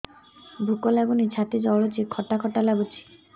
ଭୁକ ଲାଗୁନି ଛାତି ଜଳୁଛି ଖଟା ଖଟା ଲାଗୁଛି